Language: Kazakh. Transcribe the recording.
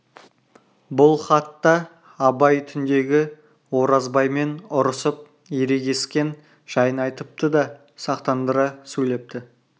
бұл хатта абай түндегі оразбаймен ұрысып ерегіскен жайын айтыпты да сақтандыра сөйлепті